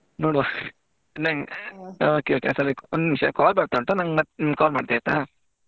ನೋಡುವ okay okay ಒಂದ್ ನಿಮಿಷ call ಬರ್ತಾ ಉಂಟು ಮತ್~ ನಿಮ್ಗೆ call ಮಾಡ್ತೆ ಆಯ್ತಾ.